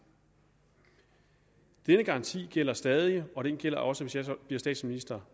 denne garanti gælder stadig og den gælder også hvis jeg som statsminister